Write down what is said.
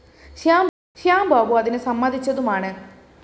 ശ്യാം ബാബു അതിനു സമ്മതിച്ചതുമാണ്